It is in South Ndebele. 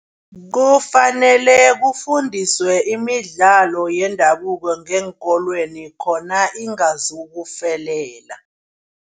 Kufanele kufundiswe imidlalo yendabuko ngeenkolweni khona iingazokufelela.